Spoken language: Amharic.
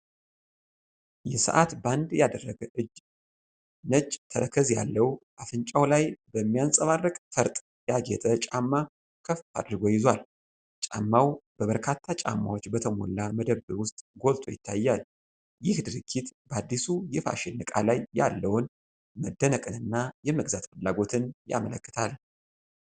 የሰዓት ባንድ ያደረገ እጅ ነጭ፣ ተረከዝ ያለው፣ አፍንጫው ላይ በሚያብረቀርቅ ፈርጥ ያጌጠ ጫማ ከፍ አድርጎ ይዟል። ጫማው በበርካታ ጫማዎች በተሞላ መደብር ውስጥ ጎልቶ ይታያል። ይህ ድርጊት በአዲሱ የፋሽን ዕቃ ላይ ያለውን መደነቅና የመግዛት ፍላጎት ያመለክታል።